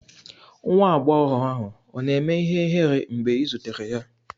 Nwa agbọghọ ahụ ọ̀ na-eme ihere mgbe ị zutere ya?